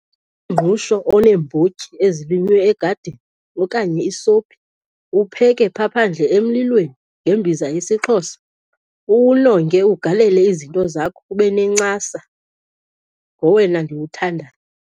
Umngqusho oneembotyi ezilinywe egadini okanye isophi, upheke phaa phandle emlilweni ngembiza yesiXhosa, uwunonge ugalele izinto zakho ube nencasa, ngowona ndiwuthandayo.